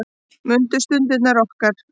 Mundu stundirnar okkar.